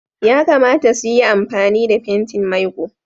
Yakamata su yi amfani da fentin maiƙo.